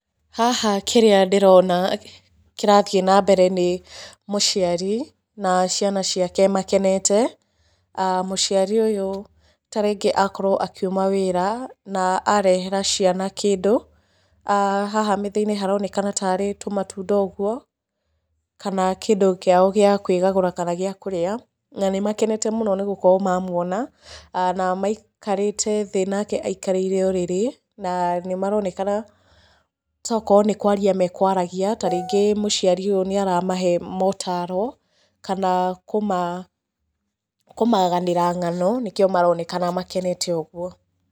Haha kĩrĩa ndĩrona kĩrathiĩ na mbere nĩ mũciari na ciana ciake makenete. aah Mũciari ũyũ tarĩngĩ akorwo akiuma wĩra na arehera ciana kĩndũ, haha metha-inĩ haronekana tarĩ tũmatunda ũguo, kana kĩndũ kĩao gĩa kwĩgagũra kana gĩa kũrĩa. Na nĩ makenete mũno nĩ gũkorwo mamuona, na maikarĩte thĩ nake aikarĩire ũrĩrĩ, na nĩ maronekana tokorwo nĩ kwaria mekwaragia, tarĩngĩ mũciari ũyũ nĩ aramahe motaro kana kũmaganĩra ng'ano nĩkĩo marorekana makenete ũguo.